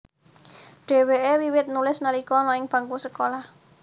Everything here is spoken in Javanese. Dhèwèké wiwit nulis nalika ana ing bangku sekolah